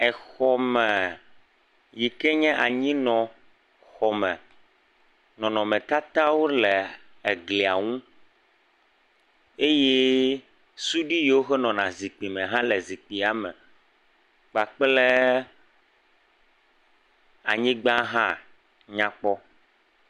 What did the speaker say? exɔ me yike nye anyinɔ xɔme nɔnɔme tata le egliaŋu eye suɖi yiwoke nɔna zikpi me hã le zikpia me kpakple anyigbã hã nyakpɔ